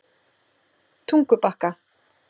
Tungubakka